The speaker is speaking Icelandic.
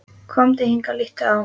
Komdu hingað, líttu á!